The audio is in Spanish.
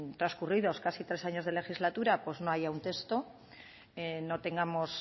transcurridos casi tres años de legislatura no haya un texto no tengamos